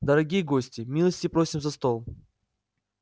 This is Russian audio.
дорогие гости милости просим за стол